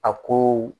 A ko